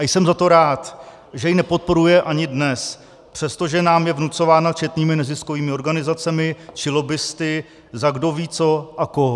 A jsem za to rád, že ji nepodporuje ani dnes, přestože nám je vnucována četnými neziskovými organizacemi či lobbisty za kdo ví co a koho.